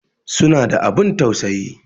Suna da abun tausayi